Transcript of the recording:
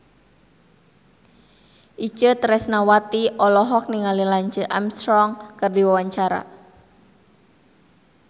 Itje Tresnawati olohok ningali Lance Armstrong keur diwawancara